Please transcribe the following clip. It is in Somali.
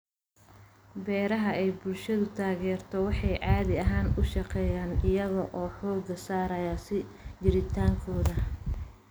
Beeraha ay bulshadu taageerto waxay caadi ahaan u shaqeeyaan iyaga oo xooga saaraya sii jiritaankooda.